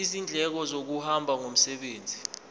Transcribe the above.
izindleko zokuhamba ngomsebenzi